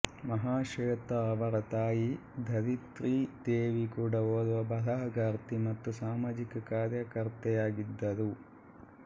ಮಹಾಶ್ವೇತಾ ಅವರ ತಾಯಿ ಧರಿತ್ರಿ ದೇವಿ ಕೂಡ ಓರ್ವ ಬರಹಗಾರ್ತಿ ಮತ್ತು ಸಾಮಾಜಿಕ ಕಾರ್ಯಕರ್ತೆಯಾಗಿದ್ದರು